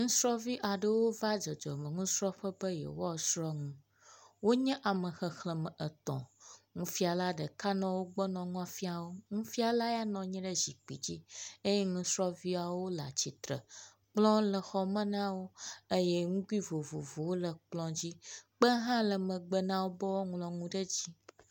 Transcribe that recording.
Nusrɔ̃vi aɖewo va dzɔdzɔmenusrɔ̃ƒe be yeawoasrɔ̃ nu. Wonye ame xexlẽme etɔ̃. Nufiala ɖeka nɔ wo gbɔ nɔ nua fiam wo. Nufiala ya nɔ nyi ɖe zikpui dzi eye nusrɔ̃viawo le atsitre. Kplɔ le xɔme na wo eye nugui vovovowo le kplɔ dzi. Kpe hã le megbe na wo be woaŋlɔ nu ɖe dzi.